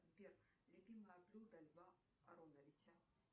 сбер любимое блюдо льва ароновича